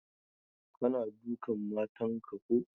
Kana dukan matan ka ko?